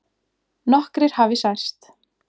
Nokkrir hafi særst